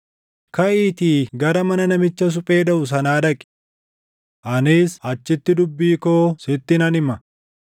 “Kaʼiitii gara mana namicha suphee dhaʼu sanaa dhaqi. Anis achitti dubbii koo sitti nan hima.”